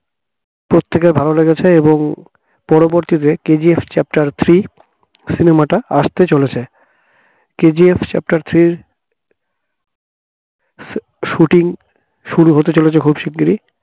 প্রত্যেকের ভালো লেগেছে এবং পরবর্তীতে KGF chapter three cinema টা আসতে চলেছে KGF chapter three shooting শুরু হতে চলেছে খুব শিগগির